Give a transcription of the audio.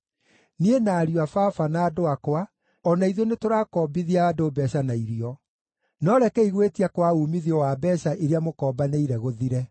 Niĩ, na ariũ a baba, na andũ akwa, o na ithuĩ nĩtũrakombithia andũ mbeeca na irio. No rekei gwĩtia kwa uumithio wa mbeeca iria mũkombanĩire gũthire!